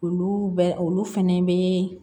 Olu bɛ olu fɛnɛ bɛ